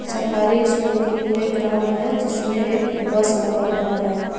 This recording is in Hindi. सरकारी स्कूल के प्ले ग्राउंड है जिसमें एक बस लगा हुआ है।